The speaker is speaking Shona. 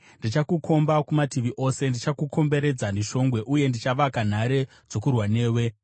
Ndichakukomba kumativi ose; ndichakukomberedza neshongwe uye ndichavaka nhare dzokurwa newe.